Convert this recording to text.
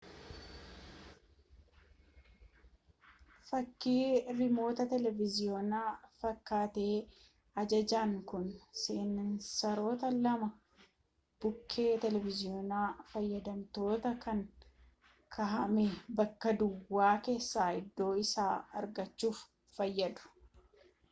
fakkii riimoota televiiziyoonaa fakkaatee ajajaan kun seensaroota lama bukkee televiiziyoona fayyadamtootaa kan kaahame bakka duwwaa keessaa iddoo isaa argachuuf fayyadu